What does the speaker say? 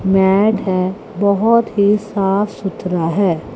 Mat है बहोत ही साफ सुथरा है।